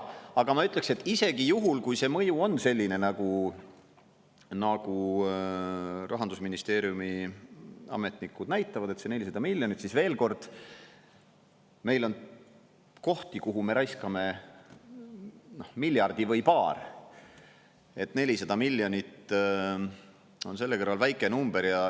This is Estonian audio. Aga ma ütleks, et isegi juhul, kui see mõju on selline, nagu Rahandusministeeriumi ametnikud näitavad, et see 400 miljonit, siis veel kord: meil on kohti, kuhu me raiskame, noh, miljardi või paar, 400 miljonit on selle kõrval väike number.